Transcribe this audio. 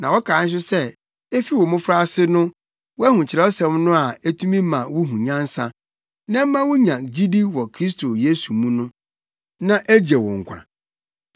na wokae nso sɛ efi wo mmofraase na woahu Kyerɛwsɛm no a etumi ma wuhu nyansa, na ɛma wunya gyidi wɔ Kristo Yesu mu, na egye wo nkwa.